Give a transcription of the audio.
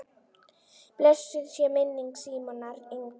Blessuð sé minning Símonar Inga.